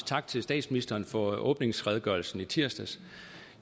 tak til statsministeren for åbningsredegørelsen i tirsdags